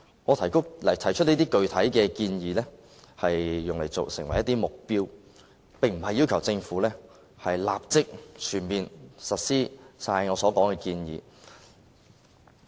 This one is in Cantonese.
我提出的這些具體建議，是作為目標，並非要求政府立即全面實施我所說的建議。